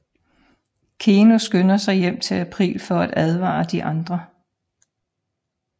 Keno skynder sig hjem til April for at advare de andre